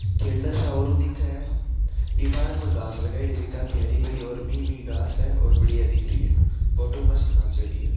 खेलडा सा और दिखे है इ पार्क में घास लगायोडी है जो काफी हरी भरी और मी मी घास है और बढ़िया दिख रही है फोटो मस्त खाचेड़ी है।